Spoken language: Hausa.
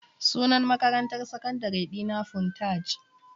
Sunan makarantar sakandare dina Funtaj.